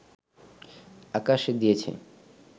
আকাশ দিয়েছে